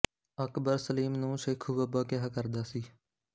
ਅਕਬਰ ਸਲੀਮ ਨੂੰ ਸ਼ੇਖੂ ਬਾਬਾ ਕਿਹਾ ਕਰਦਾ ਸੀ